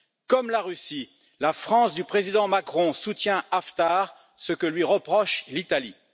Comme la Russie, la France du président Macron soutient Haftar, ce que lui reproche l'Italie.